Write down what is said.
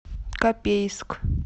копейск